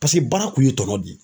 Paseke baara kun ye tɔnɔ de ye.